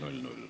Kõike head!